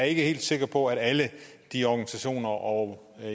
er ikke helt sikker på at alle de organisationer og